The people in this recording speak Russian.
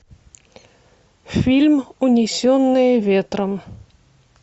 фильм унесенные ветром